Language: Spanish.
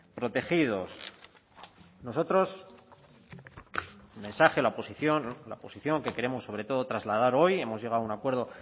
protegidos nosotros el mensaje la posición que queremos sobre todo trasladar hoy hemos llegado a un acuerdo